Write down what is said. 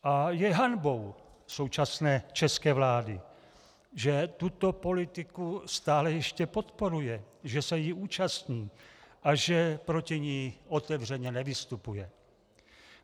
A je hanbou současné české vlády, že tuto politiku stále ještě podporuje, že se jí účastní a že proti ní otevřeně nevystupuje.